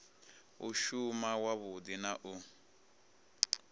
u shuma wavhudi na u